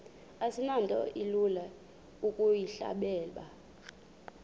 asinto ilula ukuyihleba